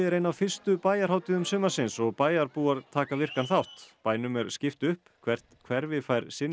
ein af fyrstu bæjarhátíðum sumarsins og bæjarbúar taka virkan þátt bænum er skipt upp hvert hverfi fær sinn